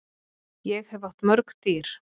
Ég hef átt mörg dýr.